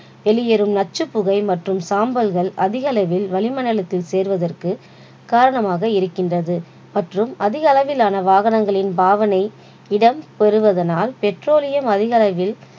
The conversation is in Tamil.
வெளியேறும் நச்சுப் புகை மற்றும் சாம்பல்கள் அதிக அளவில் வளிமண்மணடலத்தில் சேர்வதற்கு காரணமாக இருக்கின்றது மற்றும் அதிக அளவிலான வாகனங்களின் பாவனை இடம் பெறுவதனால் petroleum அதிக அளவில்